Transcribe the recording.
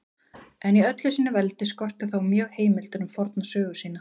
En í öllu sínu veldi skorti þá mjög heimildir um forna sögu sína.